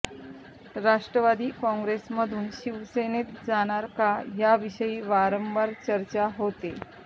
राष्टवादी काँग्रेस मधून शिवसेनेत जाणार का याविषयी वारंवार चर्चा होतेय